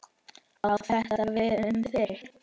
Á þetta við um þig?